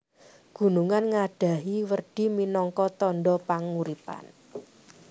Gunungan ngadhahi werdi minangka tandha panguripan